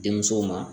Denmusow ma